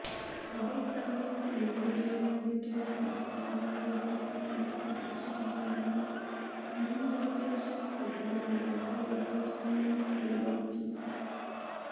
അതേസമയം തീവണ്ടി അനുവദിക്കാൻ സംസ്ഥാനങ്ങളുടെ സമ്മതം ആവശ്യമാണെന്ന മുൻനിർദ്ദേശം പുതിയ മാർഗരേഖയിൽനിന്ന് ഒഴിവാക്കി